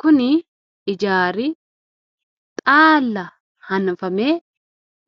kuni ijaari xaalla hanafame